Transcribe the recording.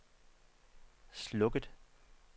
slukket